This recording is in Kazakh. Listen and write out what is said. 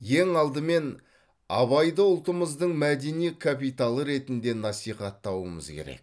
ең алдымен абайды ұлтымыздың мәдени капиталы ретінде насихаттауымыз керек